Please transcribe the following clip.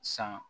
San